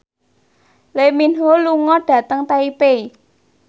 Lee Min Ho lunga dhateng Taipei